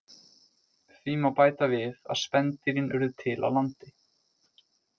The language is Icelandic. Því má bæta við að spendýrin urðu til á landi.